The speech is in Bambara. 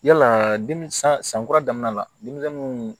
Yala demi san san kura daminɛ la denmisɛnnu